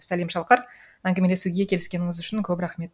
сәлем шалқар әңгімелесуге келіскеніңіз үшін көп рахмет